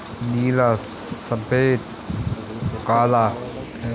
नीला सफ़ेद काला है --